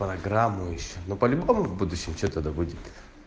программу ещё но по-любому в будущем что то да будет